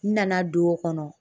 N nana don o kɔnɔ